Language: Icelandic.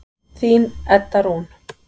Þín Edda Rún.